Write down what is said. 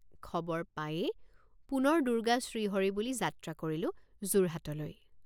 খবৰ পায়েই পুনৰ দুৰ্গা শ্ৰীহৰি বুলি যাত্ৰা কৰিলোঁ যোৰহাটলৈ।